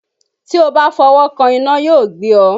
Tí ó bá fọwọ́ kan iná yóò gbé ọ.